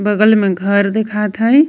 बगल में घर दिखात हई।